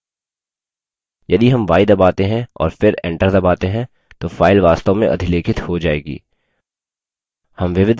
यदि हम y दबाते हैं और फिर enter दबाते हैं तो file वास्तव में अधिलेखित हो जायेगी